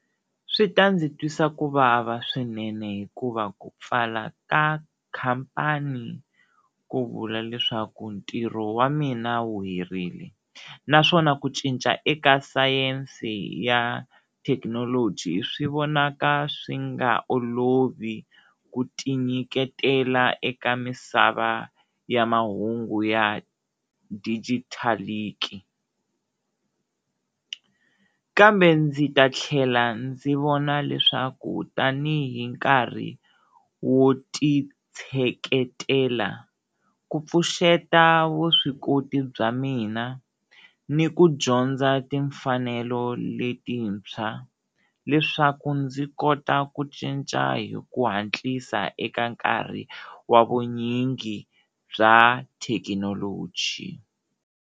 Swi ta ndzi twisa ku vava swinene hikuva ku pfala ka khampani ku vula leswaku ntirho wa mina wu herile naswona ku cinca eka sayense ya thekinoloji swi vonaka swi nga olovi ku ti nyiketela eka misava ya mahungu ya kambe ndzi ta tlhela ndzi vona leswaku tanihi nkarhi wu ti tsheketela ku pfuxeta vuswikoti bya mina ni ku dyondza timfanelo letintshwa leswaku ndzi kota ku cinca hi ku hatlisa eka nkarhi wa vunyingi bya thekinoloji.